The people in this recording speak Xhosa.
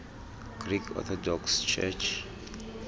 greek orthodox church